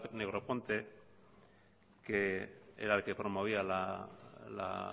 negroponte que era el que promovía la